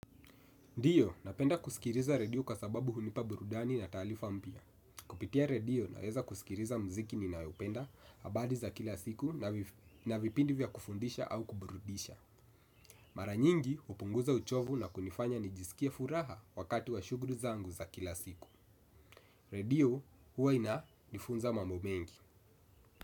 Ndio, napenda kusikiliza redio kwasababu hunipa burudani na taarifa mpya. Kupitia redio naweza kusikiliza mziki ninaopenda, habali za kila siku na vipindi vya kufundisha au kuburudisha. Mara nyingi, hupunguza uchovu na kunifanya nijisikie furaha wakati wa shughuli zangu za kila siku. Redio, huwa inanifunza mambo mengi.